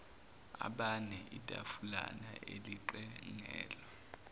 abane itafulana elixegelwa